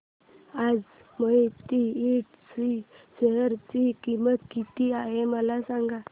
आज मोहिते इंड च्या शेअर ची किंमत किती आहे मला सांगा